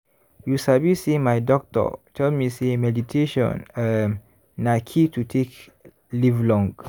you sabi say my doctor tell me say meditation um na key to take live long.